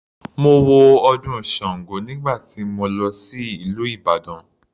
Mo wo ọdún sango nígbà tí mo lọ sí ìlú Ìbàdàn.